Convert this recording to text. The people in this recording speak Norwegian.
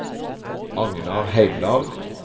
Agnar Heimdal